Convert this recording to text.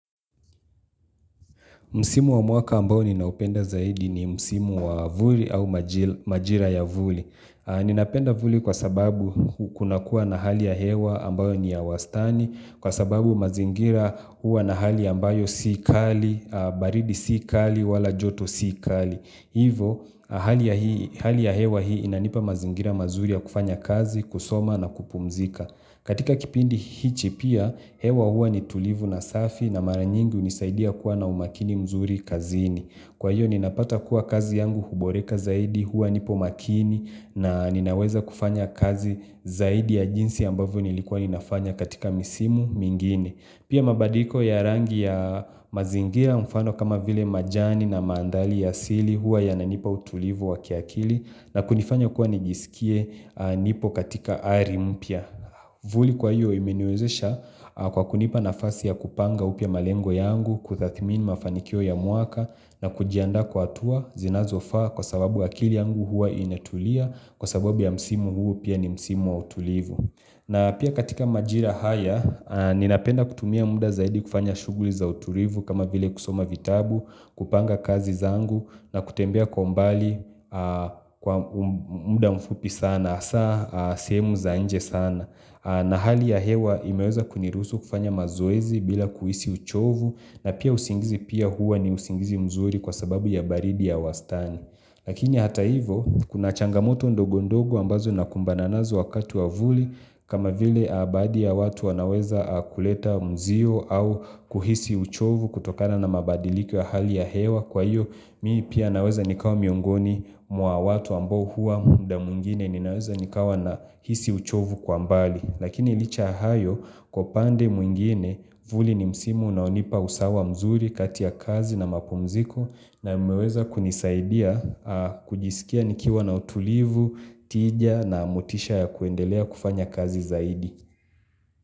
Msimu wa mwaka ambayo ninaupenda zaidi ni msimu wa vuli au majira ya vuli. Ninapenda vuli kwa sababu kunakuwa na hali ya hewa ambayo ni ya wastani, kwa sababu mazingira huwa na hali ambayo si kali, baridi si kali, wala joto si kali. Hivo, hali ya hewa hii inanipa mazingira mazuri ya kufanya kazi, kusoma na kupumzika. Katika kipindi hichi pia hewa huwa ni tulivu na safi na mara nyingi hunisaidia kuwa na umakini mzuri kazini. Kwa hiyo ninapata kuwa kazi yangu huboreka zaidi huwa nipo makini na ninaweza kufanya kazi zaidi ya jinsi ambavyo nilikuwa ninafanya katika misimu mingine. Pia mabadiko ya rangi ya mazingira mfano kama vile majani na manthali ya asili huwa yananipa utulivu wa kiakili na kunifanya kuwa nijisikie nipo katika ari mpya. Vuli kwa hiyo imeniwezesha kwa kunipa nafasi ya kupanga upya malengo yangu, kutathmini mafanikio ya mwaka na kujiandaa kwa hatua zinazofaa kwa sababu akili yangu huwa inatulia kwa sababu ya msimu huu pia ni msimu wa utulivu. Na pia katika majira haya, ninapenda kutumia muda zaidi kufanya shuguli za uturivu kama vile kusoma vitabu, kupanga kazi zangu na kutembea kwa umbali kwa muda mfupi sana, asa sehemu za nje sana. Na hali ya hewa imeweza kuniruhusu kufanya mazoezi bila kuhisi uchovu na pia usingizi pia huwa ni usingizi mzuri kwa sababu ya baridi ya wastani. Lakini hata hivo kuna changamoto ndogondogo ambazo nakumbana nazo wakati wa vuli kama vile baadhi ya watu wanaweza kuleta mzio au kuhisi uchovu kutokana na mabadiliko ya hali ya hewa kwa hiyo mii pia naweza nikawa miongoni mwa watu ambao hua muda mwingine ninaweza nikawa nahisi uchovu kwa mbali. Lakini licha ya hayo kwa upande mwingine vuli ni msimu unaonipa usawa mzuri kati ya kazi na mapumziko na umeweza kunisaidia kujisikia nikiwa na utulivu, tija na motisha ya kuendelea kufanya kazi zaidi.